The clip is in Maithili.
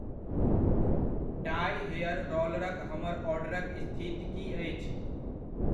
डाइउ हेयर रोलरक हमर ऑर्डरक स्थिति की अछि?